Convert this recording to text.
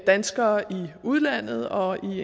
danskere i udlandet og i